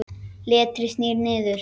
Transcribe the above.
Letrið snýr niður.